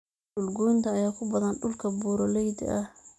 Dhul goynta ayaa ku badan dhulka buuraleyda ah.